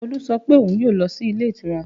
Olu sọ pé òun yóò lọ sí ilé ìtura